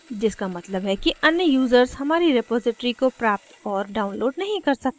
जिसका मतलब कि अन्य users हमारी रेपॉज़िटरी को प्राप्त और download नहीं कर सकते हैं